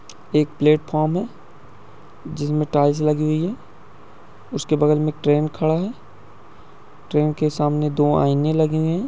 एक प्लेटफार्म है। जिनमे टाइल्स लगी हुई है उसके बगल में एक ट्रेन खड़ी है ट्रेन के सामने दो आईने लगे हुए है।